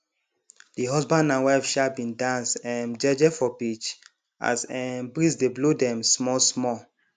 de husband and wife um bin dance um jeje for beach as um breeze dey blow dem small small